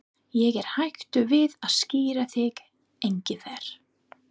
Ég er hættur við að skíra þig Engifer.